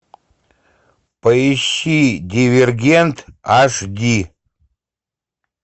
поищи дивергент аш ди